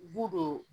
Bu don